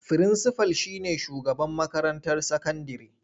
Firinsifal shi ne shugaban makarantar sakandire.